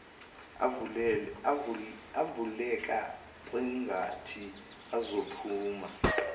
avuleka kwangathi azophuma